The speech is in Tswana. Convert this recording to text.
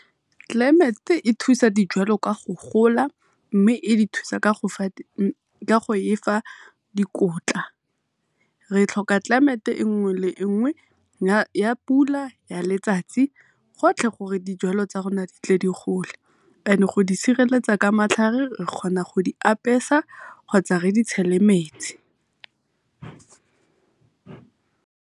Climate e thusa dijalo ka go gola e e thusa ka go efa dikotla. Re tlhoka climate nngwe le nngwe ya pula, ya letsatsi, gotlhe gore dijalo tsa rona di tle di gole go di sireletsa ka matlhare re kgona go di apesa kgotsa re di tshele metsi.